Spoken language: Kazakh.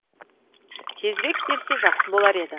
тезірек берсе жақсы болар еді